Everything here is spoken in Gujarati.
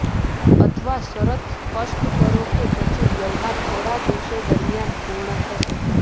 અથવા શરત સ્પષ્ટ કરો કે પછી વ્યવહાર થોડા દિવસો દરમિયાન પૂર્ણ થશે